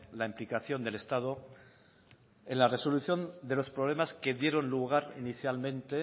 la implicación del estado en la resolución de los problemas que dieron lugar inicialmente